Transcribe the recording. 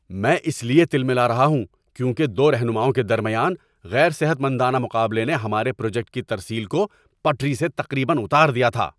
میں اس لیے تلملا رہا ہوں کیونکہ دو رہنماؤں کے درمیان غیر صحت مندانہ مقابلے نے ہمارے پروجیکٹ کی ترسیل کو پٹری سے تقریباً اتار دیا تھا۔